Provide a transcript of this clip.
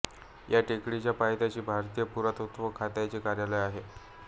या टेकडीच्या पायथ्याशी भारतीय पुरातत्त्व खात्याचे कार्यालय आहे